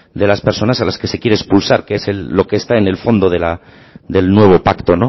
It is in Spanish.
de las personas a las que se quiere expulsar que es lo que está en el fondo del nuevo pacto